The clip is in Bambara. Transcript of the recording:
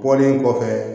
Bɔlen kɔfɛ